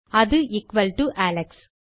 அது equal to Alex